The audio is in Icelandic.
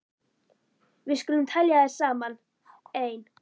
Við skulum telja þær saman: Ein.